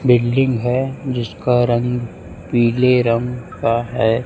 Building है। जिसका रंग पीले रंग का है।